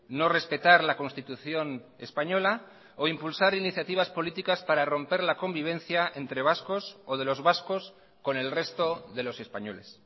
no respetar la constitución española o impulsar iniciativas políticas para romper la convivencia entre vascos o de los vascos con el resto de los españoles